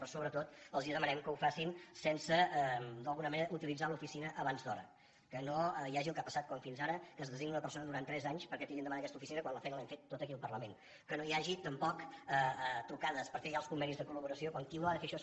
però sobretot els demanem que ho facin sense d’alguna manera utilitzar l’oficina abans d’hora que no hi hagi el que ha passat fins ara que es designa una persona durant tres anys perquè tiri endavant aquesta oficina quan la feina l’hem fet tota aquí al parlament que no hi hagi tampoc trucades per fer ja els convenis de col·laboració quan qui ha de fer això